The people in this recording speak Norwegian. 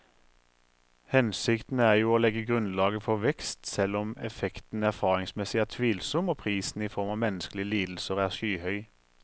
Hensikten er jo å legge grunnlaget for vekst, selv om effekten erfaringsmessig er tvilsom og prisen i form av menneskelige lidelser er skyhøy.